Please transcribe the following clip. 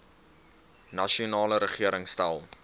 nasionale regering stel